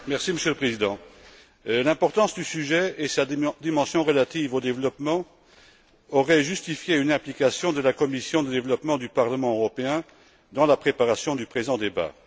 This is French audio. Monsieur le Président, l'importance du sujet et sa dimension relative au développement auraient justifié une implication de la commission du développement du Parlement européen dans la préparation du présent débat.